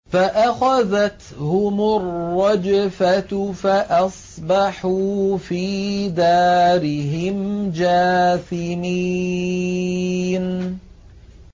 فَأَخَذَتْهُمُ الرَّجْفَةُ فَأَصْبَحُوا فِي دَارِهِمْ جَاثِمِينَ